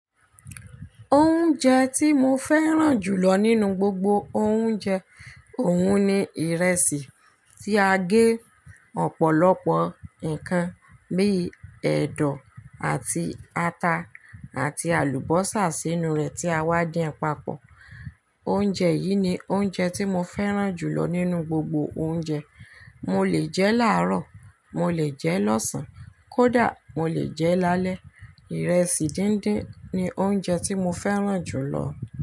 Oúnjẹ tí mo fẹ́ràn jù lọ nínú gbogbo oúnjẹ òun ni ìrẹsì tí a gé ọ̀pọ̀lọpọ̀ ǹkan bíi ẹ̀dọ̀ àti ata àti àlùbọ́sà sínú rẹ̀ tí a wá dín papọ̀. Oúnjẹ yìí ni oúnjẹ tí mo fẹ́ràn jù lọ nínú gbogbo oúnjẹ. Mo lè jẹ láàrọ̀, mo lè jẹ lọ́sàn-án, kódà mo lè jẹ lálẹ́. Ìrẹsì díndín ni oúnjẹ tí mo fẹ́ràn jù lọ.